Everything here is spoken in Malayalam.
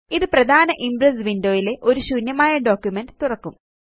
ഇത് പ്രധാന ഇംപ്രസ് വിൻഡോ യില് ഒരു ശൂന്യമായ ഡോക്യുമെന്റ് തുറക്കും